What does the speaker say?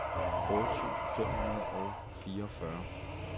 otte tusind fem hundrede og fireogfyrre